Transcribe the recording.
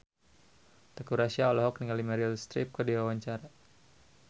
Teuku Rassya olohok ningali Meryl Streep keur diwawancara